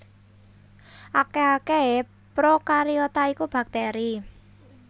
Akèh akèhé prokariota iku baktèri